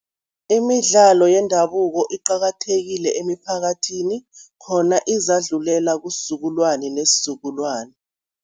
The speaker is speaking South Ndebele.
Imidlalo yendabuko iqakathekile emiphakathini khona izakudlulela kusizukulwane nesizukulwane.